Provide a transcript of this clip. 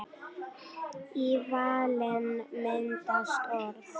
Í vælinu myndast orð.